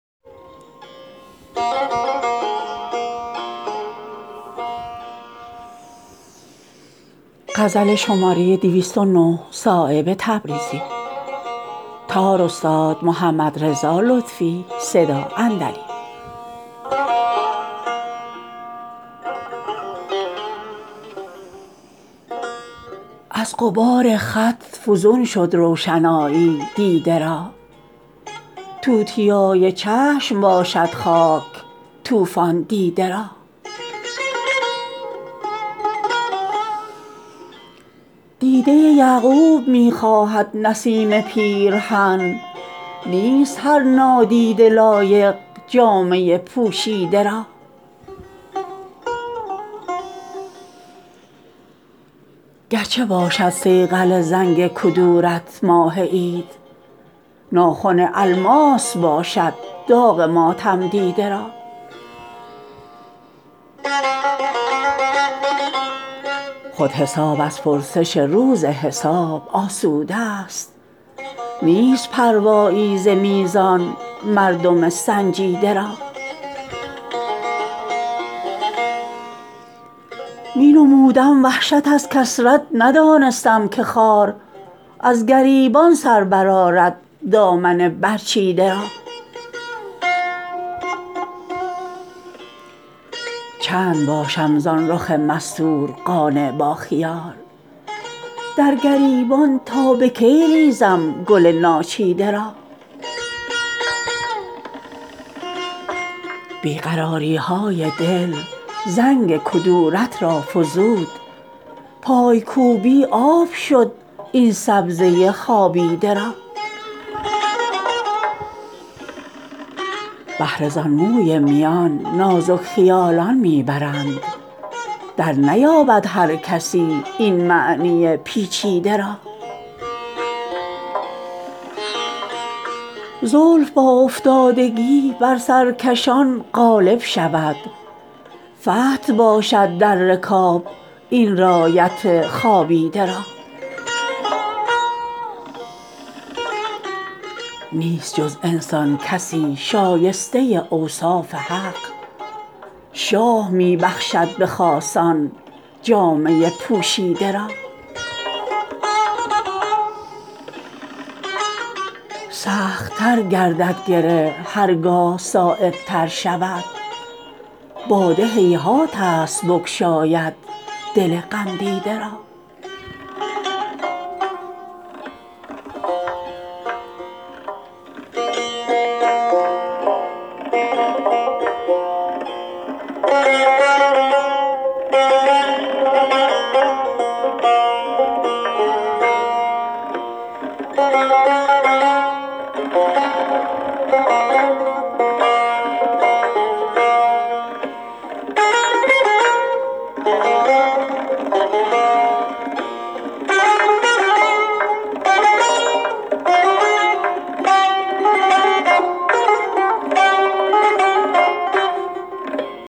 از غبار خط فزون شد روشنایی دیده را توتیای چشم باشد خاک طوفان دیده را دیده یعقوب می خواهد نسیم پیرهن نیست هر نادیده لایق جامه پوشیده را گرچه باشد صیقل زنگ کدورت ماه عید ناخن الماس باشد داغ ماتم دیده را خود حساب از پرسش روز حساب آسوده است نیست پروایی ز میزان مردم سنجیده را می نمودم وحشت از کثرت ندانستم که خار از گریبان سر برآرد دامن برچیده را چند باشم زان رخ مستور قانع با خیال در گریبان تا به کی ریزم گل ناچیده را بی قراری های دل زنگ کدورت را فزود پایکوبی آب شد این سبزه خوابیده را بهره زان موی میان نازک خیالان می برند در نیابد هر کسی این معنی پیچیده را زلف با افتادگی بر سر کشان غالب شود فتح باشد در رکاب این رایت خوابیده را نیست جز انسان کسی شایسته اوصاف حق شاه می بخشد به خاصان جامه پوشیده را سخت تر گردد گره هر گاه صایب تر شود باده هیهات است بگشاید دل غم دیده را